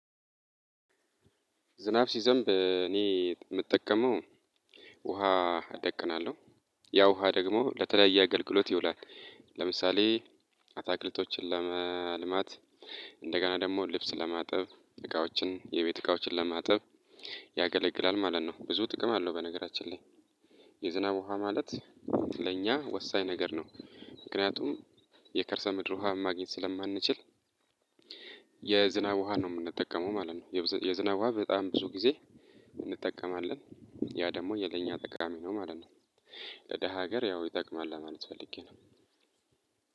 ዝናብ ሲዘንብ እኔ የምጠቀመው ውሃ እደቅናለሁ ያ ውሃ ደግሞ ለተለያየ አገልግሎት ይውላል። ለምሳሌ አታክልቶችን ለማልማት እንደገና ደግሞ ልብስ ለማጠብ እቃዎችን የቤት እቃዎችን ለማጠብ ያገለግላል ማለት ነው። ብዙ ጥቅም አለው። በነገራችን ላይ የዝናብ ውሃ ማለት ለእኛ ወሳኝ ነገር ነው። ምክንያቱም የከርሰ ምድር ውሃን ማግኘት ስለማንችል የዝናብ ውሃ ነው የምንጠቀመው ማለት ነው። የዝናብ በጣም ብዙ ጊዜ እንጠቀማለን ያ ደግሞ የለኛ ጠቃሚ ነው ማለት ነው። ለደሃ ሀገር ያው ይጠቅማል ለማለት ፈልጌ ነው።